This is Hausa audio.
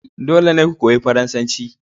Dole ne ku koyi Faransanci